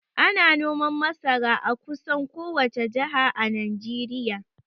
Ana noman masara a kusan kowace jaha a Najeriya